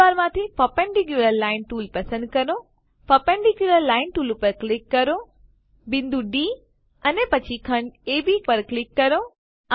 ટૂલબારમાંથી perpendicular line tool પસંદ કરો પર્પેન્ડિક્યુલર લાઇન ટૂલ પર ક્લિક કરો બિંદુ ડી અને પછી ખંડ અબ પર ક્લિક કરો